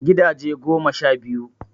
Gidaje goma sha biyu